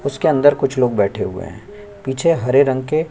उसके अंदर कुछ लोग बैठे हुए है पीछे हरे रंग के--